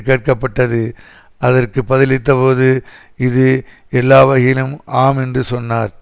கேட்கப்பட்டது அதற்கு பதிலளித்தபோது இது எல்லாவகையிலும் ஆம் என்று சொன்னார்